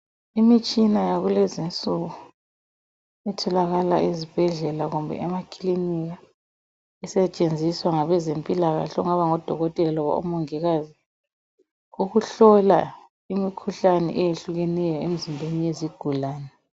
Imitshina yakulezinsuku etholakala ezibhedlela kumbe emaklinika isetshenziswa ngabezempila kahle okungaba ngodokotela loba omongikazi ukuhlola imikhuhlane eyehlukeneyo emizimbeni yezigulane.